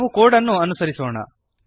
ನಾವು ಕೋಡ್ ಅನ್ನು ಅನುಸರಿಸೋಣ